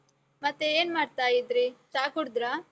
ಮತ್ತೆ ಏನ್ಮಾಡ್ತಾ ಇದ್ರಿ? ಚಾ ಕುಡ್‌ದ್ರಾ?